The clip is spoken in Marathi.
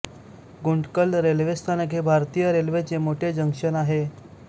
गुंटकल रेल्वे स्थानक हे भारतीय रेल्वेचे मोठे जंक्शन आहे